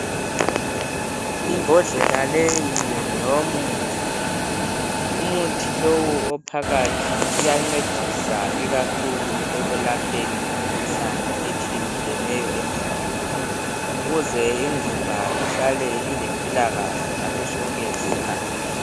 Imbodlela leyi ngeyomuthi .Umuthi lowu ophakathi uya uyancedisa ikakhulu ekwelapheni imikhuhlane etshiye tshiyeneyo .Ukuze imzimba ihlale ilempilakahle ngaso sonke isikhathi .